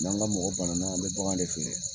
N'an ga mɔgɔ bananan an bɛ bagan de feere